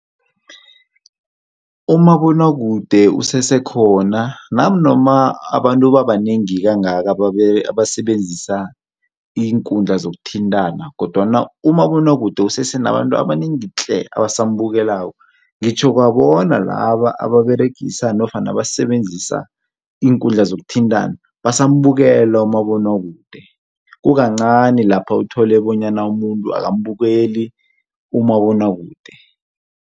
Umabonwakude usesekhona nanoma abantu babanengi kangaka abasebenza iinkundla zokuthintana, kodwana umabonwakude kusese nabantu abanengi tle. abasambukelako, ngitjho kwabona laba ababeregisa nofana abasebenzisa iinkundla zokuthintana basambukela umabonwakude. Kukancani lapha uthole bonyana umuntu akambukeli umabonwakude.